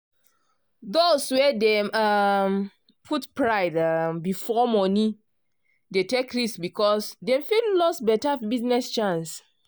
those wey dey um put pride um before monie dey take risk because dem fit lose better business chance